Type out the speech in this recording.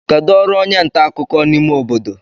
kedu ọrụ onye nta akụkọ n'ime obodo